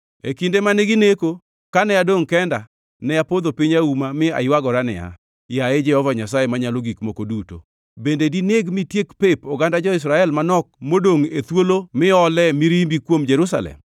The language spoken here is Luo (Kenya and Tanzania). E kinde mane gineko, kane adongʼ kenda, ne apodho piny auma, mi aywagora niya, “Yaye Jehova Nyasaye Manyalo Gik Moko Duto, bende dineg mitiek pep oganda jo-Israel manok modongʼ e thuolo miolee mirimbi kuom Jerusalem?”